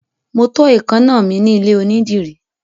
Mo tọ́ èékáná mi ní ilé onídìrí.